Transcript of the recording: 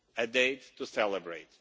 a date to celebrate.